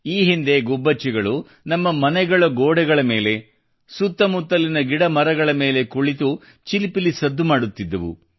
ಈ ಹಿಂದೆ ಗುಬ್ಬಚ್ಚಿಗಳು ನಮ್ಮ ಮನೆಗಳ ಗೋಡೆಗಳ ಮೇಲೆ ಕುಳಿತು ಸುತ್ತಮುತ್ತಲಿನ ಗಿಡಮರಗಳ ಮೇಲೆ ಚಿಲಿಪಿಲಿ ಸದ್ದು ಮಾಡುತ್ತಿದ್ದವು